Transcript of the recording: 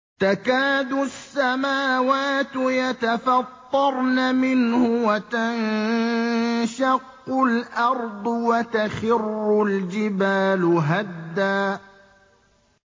تَكَادُ السَّمَاوَاتُ يَتَفَطَّرْنَ مِنْهُ وَتَنشَقُّ الْأَرْضُ وَتَخِرُّ الْجِبَالُ هَدًّا